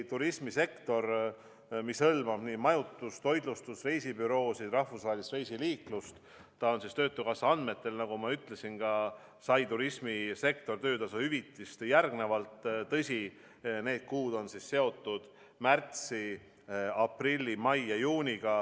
Turismisektor, mis hõlmab majutust, toitlustust, reisibüroosid ja rahvusvahelist reisiliiklust, sai töötukassa andmetel, nagu ma ütlesin, töötasu hüvitist järgmiselt – tõsi, need kuud olid märts, aprill, mai ja juuni.